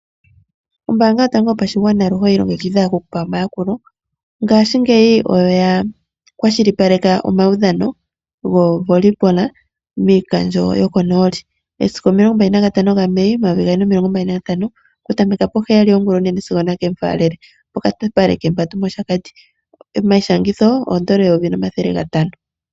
Ombaanga yotango yopashigwana aluhe oyi ilongekidha oku ku pa omayakulo. Ngaashingeyi oya kwashilipaleka omaudhano gokatanga koVolley miikandjo yokonooli. Momasiku 25 Mai 2025 okutameka poheyali yongulonene sigo nakemufaalele pokapale kembandu mOshakati. Omayishangitho N$ 1500.